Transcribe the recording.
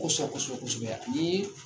Kosɔ kosɔ ko sɛbɛsɛ